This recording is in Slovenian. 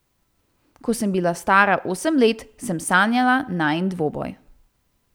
Ko sem bila stara osem let, sem sanjala najin dvoboj.